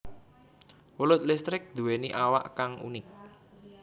Welut listrik nduwèni awak kang unik